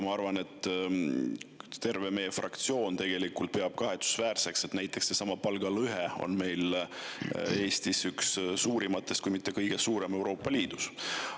Ma arvan, et terve meie fraktsioon peab kahetsusväärseks seda, et palgalõhe on meil üks suurimaid, kui mitte kõige suurem Euroopa Liidus.